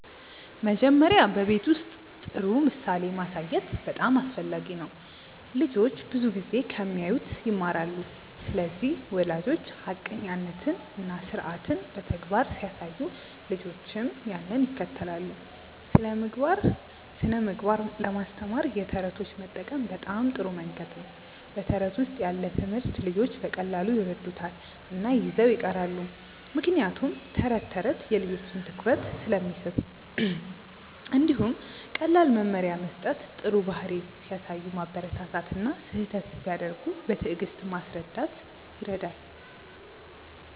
መጀመሪያ በቤት ውስጥ ጥሩ ምሳሌ ማሳየት በጣም አስፈላጊ ነው። ልጆች ብዙ ጊዜ ከሚያዩት ይማራሉ ስለዚህ ወላጆች ሐቀኛነትን እና ስርዓትን በተግባር ሲያሳዩ ልጆችም ያንን ይከተላሉ። ስነ ምግባር ለማስተማር የተረቶች መጠቀም በጣም ጥሩ መንገድ ነው በተረት ውስጥ ያለ ትምህርት ልጆች በቀላሉ ይረዱታል እና ይዘው ይቀራሉ ምክንያቱም ተረት ተረት የልጆችን ትኩረት ስለሚስብ። እንዲሁም ቀላል መመሪያ መስጠት ጥሩ ባህሪ ሲያሳዩ ማበረታታት እና ስህተት ሲያደርጉ በትዕግስት ማስረዳት ይረዳል።